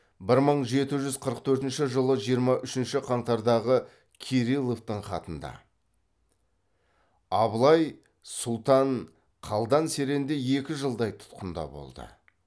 бір мың жеті жүз қырық төртінші жылы жиырма үшінші қаңтардағы кирилловтың хатында абылай сұлтан қалдан серенде екі жылдай тұтқында болды